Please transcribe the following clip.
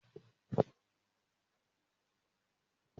Mo máa jẹ kárọ́ọ̀tì kí n tó jáde.